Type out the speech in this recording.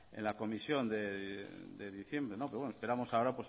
en la comisión de diciembre pero esperamos ahora